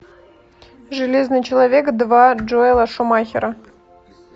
железный человек два джоэла шумахера